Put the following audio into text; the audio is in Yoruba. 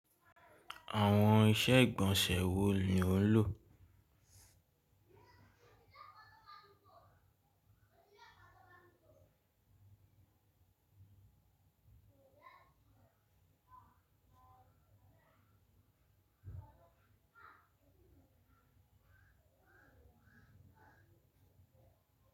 Àwọn iṣẹ́ ìgbọ̀nsẹ̀ wo ni ò ń lò?